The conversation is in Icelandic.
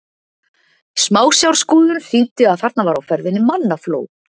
Smásjárskoðun sýndi að þarna var á ferðinni mannafló.